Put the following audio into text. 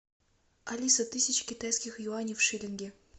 алиса тысяча китайских юаней в шиллинги